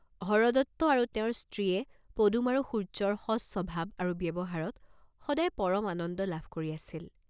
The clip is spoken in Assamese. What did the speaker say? হৰদত্ত আৰু তেওঁৰ স্ত্ৰীয়ে পদুম আৰু সুৰ্য্যৰ সজ স্বভাৱ আৰু ব্যৱহাৰত সদাই পৰম আনন্দ লাভ কৰি আছিল।